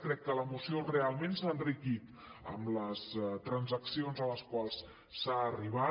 crec que la moció realment s’ha enriquit amb les transaccions a les quals s’ha arribat